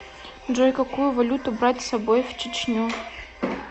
джой какую валюту брать с собой в чечню